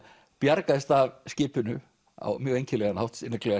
bjargaðist af skipinu á mjög einkennilegan hátt líklega